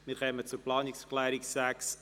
Wir kommen zur Planungserklärung 6a.